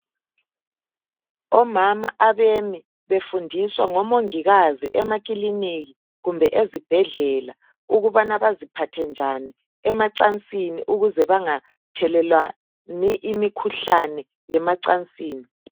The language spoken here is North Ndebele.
Omama abemi befundiswa ngomongikazi emakilinika kumbe ezibhedlela ukubana baziphathe njani emacansini ukuze bangathelelwani imikhuhlane yemacansini.